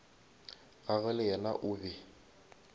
gagwe le yena o be